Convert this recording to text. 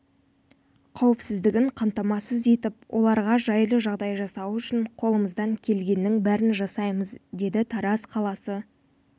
қауіпсіздігін қамтамасыз етіп оларға жайлы жағдай жасау үшін қолымыздан келгеннің бәрін жасаймыз деді тараз қаласы